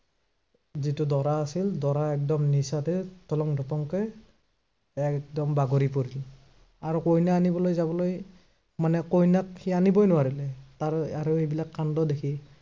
যিটো দৰা আছিল, দৰা একদম নিচাতে তলংভটংকে একদম বাগৰি পৰিল। আৰু কইনা আনিবলৈ যাবলৈ, মানে কইনাক সি আনিবই নোৱাৰিলে। তাৰ আৰু সেইবিলাক কাণ্ড দেখি